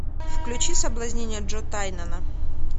включи соблазнение джо тайнана